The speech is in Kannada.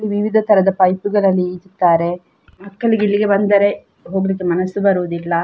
ಇಲ್ಲಿ ವಿವಿಧ ತರದ ಪೈಪುಗಳಲ್ಲಿ ಇಡ್ತಾರೆ ಮಕ್ಕಳಿಗೆ ಇಲ್ಲಿಗೆ ಬಂದರೆ ಹೋಗ್ಲಿಕ್ಕೆ ಮನಸ್ಸು ಬರುವುದಿಲ್ಲ.